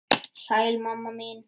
Sæl mamma mín.